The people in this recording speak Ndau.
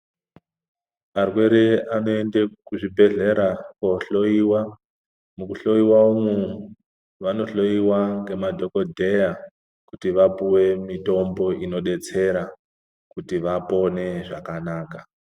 Arwere anoende kuzvibhehlera kohloyiwa. Mukuhloiwa umwu vanohloiwa ngemadhokodheya kuti vapuwe mitombo inodetsera kuti vapone zvakanaka.